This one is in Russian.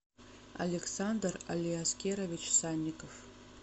александр алиаскерович санников